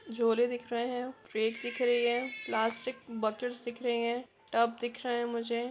झोले दिख रहै है ट्रक दिख रही है प्लास्टिक बकेट दिख रहै है टब दिख रहै है मुझे--